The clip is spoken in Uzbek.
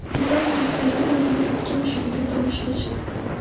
Britanliyalik ayol o‘zining ikki mushugiga turmushga chiqdi.